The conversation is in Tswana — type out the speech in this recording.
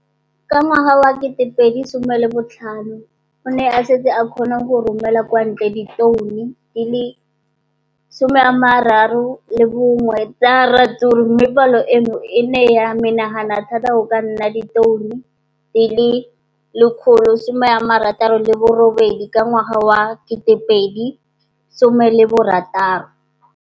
Ka ngwaga wa 2015, o ne a setse a kgona go romela kwa ntle ditone di le 31 tsa ratsuru mme palo eno e ne ya menagana thata go ka nna ditone di le 168 ka ngwaga wa 2016.